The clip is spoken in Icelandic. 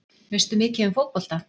Veistu mikið um fótbolta?